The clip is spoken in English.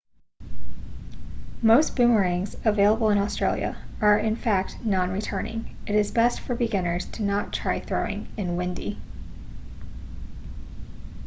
most boomerangs available in australia are in fact non-returning it is best for beginners to not try throwing in windy